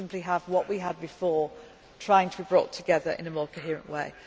not have anything. We simply have what we had before, trying to bring it together in a